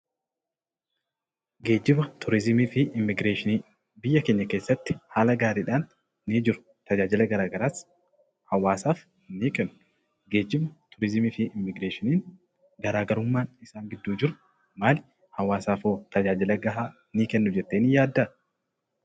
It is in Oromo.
Geejjiba, turizimii fi immigureeshinii. Biyya keenya keessatti haala gaariidhaan ni jiru. Tajaajila garaa garaas hawwaasaaf ni kennu. Geejibni, turizimii fi immigireeshiniin garaa garummaan isaan gidduu jiru maal, hawwasaaf hoo tajaajila ga'aa ni kennu jettee ni yaaddaa?